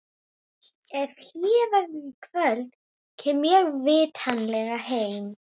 Ef hlé verður í kvöld, kem ég vitanlega heim.